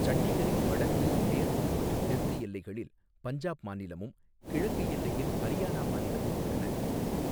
சண்டிகரின் வடக்கு, மேற்கு மற்றும் தெற்கு எல்லைகளில் பஞ்சாப் மாநிலமும், கிழக்கு எல்லையில் ஹரியானா மாநிலமும் உள்ளன.